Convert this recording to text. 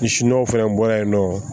N siɲɔw fɛnɛ bɔra yen nɔ